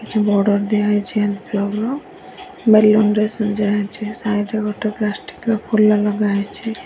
କିଛି ବର୍ଡର ଦିଆହେଇଚି ନ୍ କ୍ଲବ ର ବାଲୁ ଅନ୍ ରେ ସଜା ହେଇଛି ସାଇଡ୍ ରେ ଗୋଟେ ପ୍ଲାଷ୍ଟିକ ର ଫୁଲ ନଗା ହେଇଚି।